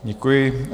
Děkuji.